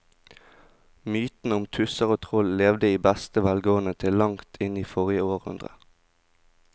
Mytene om tusser og troll levde i beste velgående til langt inn i forrige århundre.